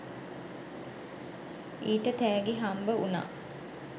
ඊට තෑගි හම්බ වුණා